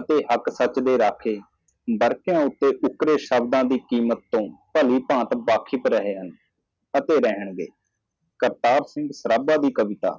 ਨਹੀਂ ਤਾਂ ਸੱਚੇ ਰੱਖਿਅਕ ਬਰਫ਼ ਉੱਤੇ ਸ਼ਬਦ ਦੇ ਮੁੱਲ ਤੋਂ ਜਾਣੂ ਅਤੇ ਹੋ ਜਾਵੇਗਾ ਕਰਤਾਰ ਸਿੰਘ ਪ੍ਰਭਾ ਦੀ ਕਵਿਤਾ